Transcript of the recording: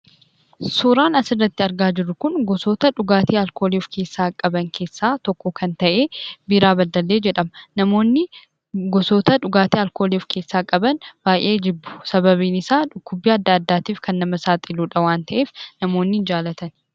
Suuraan asirratti argaa jirru kun gosoota dhugaatii alkoolii of keessaa qaban keessaa tokko kan ta'e biiraa baddellee jedhama. Namoonni gosoota dhugaatii alkoolii of keessaa qaban baay'ee jibbu. Sababiin isaa dhukkubbii adda addaatiif kan nama saaxiludha waan ta'eef namoonni hin jaallatan.